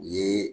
U ye